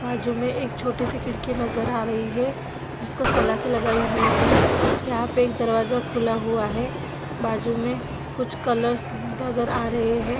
बाजु में एक छोटी सी खिड़की नज़र आ रही है जिसको सलाखे लगाई हुई है यहाँ पर एक दरवाजा खुला हुआ है बाजु में कुछ कलर्स नज़र आ रहे है।